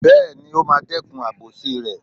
Bẹ́ẹ̀ni, ó máa dẹ́kun àbòsí rẹ̀.